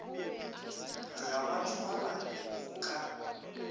ga ba thwalwa go ka